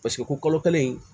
Paseke ko kalo kelen